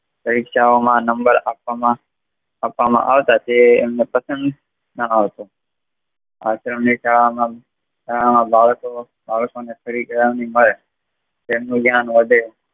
પરીક્ષાઓમાં number આપવામાં આવતા તે એમને પસંદ ના આવતુ આશ્રમ ની શાડા બાળકોને તેમનું ધ્યાન વધે